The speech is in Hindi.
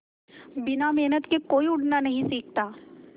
बिना मेहनत के कोई उड़ना नहीं सीखता